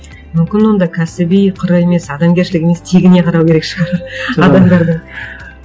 мүмкін онда кәсіби қыры емес адамгершілігі емес тегіне қарау керек шығар адамдардың